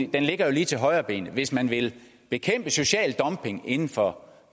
den jo lige til højrebenet hvis man vil bekæmpe social dumping inden for